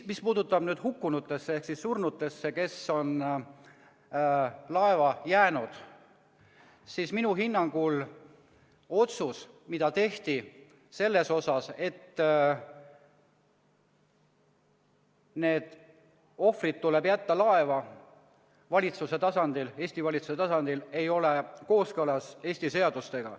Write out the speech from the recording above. Mis puudutab surnuid, kes on laeva jäänud, siis minu hinnangul otsus, mis tehti Eesti valitsuse tasandil selle kohta, et need ohvrid tuleb jätta laeva, ei ole kooskõlas Eesti seadustega.